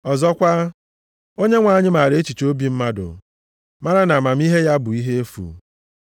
Ọzọkwa, “Onyenwe anyị maara echiche obi mmadụ, mara na amamihe ya bụ ihe efu.” + 3:20 \+xt Abụ 94:11\+xt*